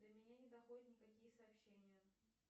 до меня не доходят никакие сообщения